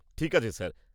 ঠিক আছে, স্যার।